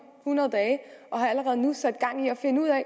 hundrede dage og har allerede nu sat gang i at finde ud af